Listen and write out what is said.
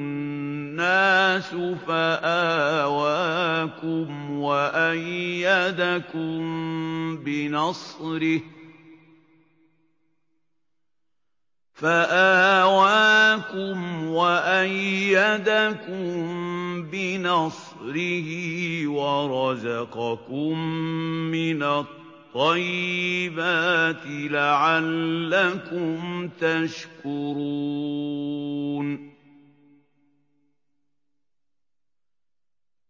النَّاسُ فَآوَاكُمْ وَأَيَّدَكُم بِنَصْرِهِ وَرَزَقَكُم مِّنَ الطَّيِّبَاتِ لَعَلَّكُمْ تَشْكُرُونَ